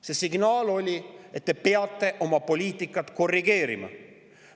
See signaal oli, et te peate oma poliitikat korrigeerima.